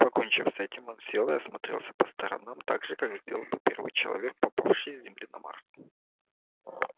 покончив с этим он сел и осмотрелся по сторонам так же как это сделал бы первый человек попавший с земли на марс